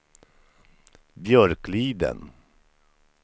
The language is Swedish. Björkliden